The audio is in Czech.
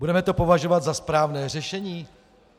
Budeme to považovat za správné řešení?